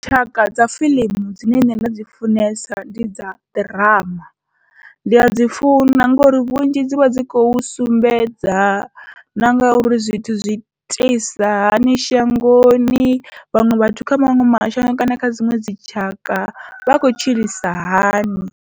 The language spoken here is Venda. Tshaka dza fiḽimu dzine nṋe nda dzi funesa ndi dza ḓirama, ndi adzi funa ngori vhunzhi dzivha dzi khou sumbedza na ngauri zwithu zwi iteisa hani shangoni, vhaṅwe vhathu kha maṅwe mashango kana kha dziṅwe dzitshaka vha kho tshilisa hani.